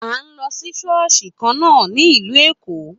A n lọ sí ṣọ́ọ̀ṣì kan na a ní ìlú Èkó.